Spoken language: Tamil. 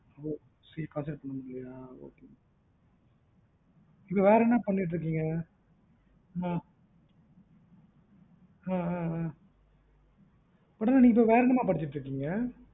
CA concentrate பண்ண முடியலையாஅஹ் அஹ் அஹ் அஹ் அப்புறம் நீங்க இப்பம் வர என்ன மா பண்ணிட்டு இருக்கீங்க